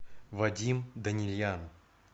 вадим данильян